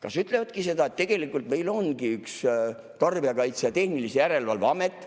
Kas ütlevadki seda, et tegelikult meil ongi üks Tarbijakaitse ja Tehnilise Järelevalve Amet,